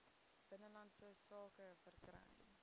binnelandse sake verkry